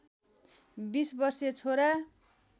२० वर्षीय छोरा